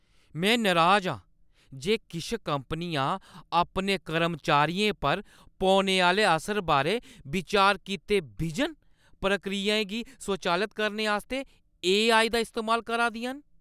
में नराज आं जे किश कंपनियां अपने कर्मचारियें पर पौने आह्‌ले असर बारै बिचार कीते बिजन प्रक्रियाएं गी स्वचालत करने आस्तै ए.आई. दा इस्तेमाल करा दियां न।